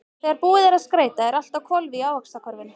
Þegar búið er að skreyta er allt á hvolfi í Ávaxtakörfunni.